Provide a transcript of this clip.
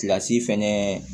Kilasi fɛnɛ